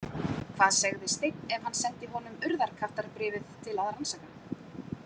Hvað segði Steinn ef hann sendi honum Urðarkattarbréfið til að rannsaka?